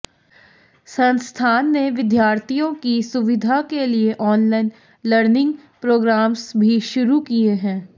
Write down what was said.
संस्थान ने विद्यार्थियों की सुविधा के लिए ऑनलाइन लर्निंग प्रोग्रामस भी शुरू किए हैं